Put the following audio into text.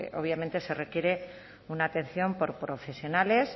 obviamente se requiere una atención por profesionales